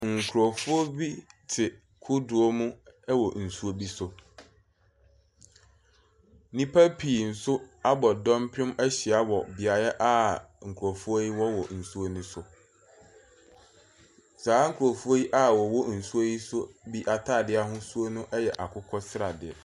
Nkurɔfoɔ bi te kodoɔ mu wɔ nsuo bi so. Nnipa pii nso abɔ dɔmpem ahyia wɔ beaeɛ a nkurɔfoɔ yi wɔ wɔ nsuo no so. Saa nkurɔfoɔ yi a wɔwɔ nsuo yi so bi atade ahoduo no yɛ akokɔ sradeɛ.